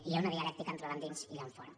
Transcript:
hi ha una dialèctica entre l’endins i l’enfora